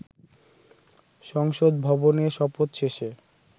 সংসদ ভবনে, শপথ শেষে